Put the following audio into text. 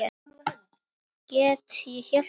Get ég hjálpað spyr ég.